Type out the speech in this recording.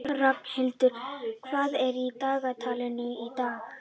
Ragnhildur, hvað er í dagatalinu í dag?